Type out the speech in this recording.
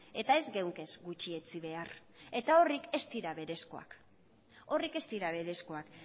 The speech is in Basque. eta ez genuke gutxietsi behar eta horiek ez dira berezkoak